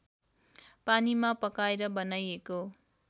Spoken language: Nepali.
पानीमा पकाएर बनाइएको